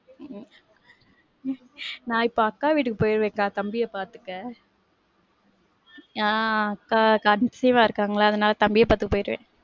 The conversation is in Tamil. உம் நான் இப்போ அக்கா வீட்டுக்கு போயிருவேன் கா தம்பிய பாத்துக்க. ஆஹ் அக்கா conceive ஆ இருக்காங்கல அதனால தம்பிய பாத்துக்க போயிருவேன்.